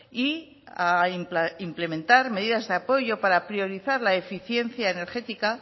y a implementar medidas de apoyo para priorizar la eficiencia energética